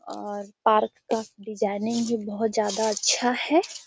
और पार्क का डिजाइनिंग भी बोहत ज्यादा अच्छा है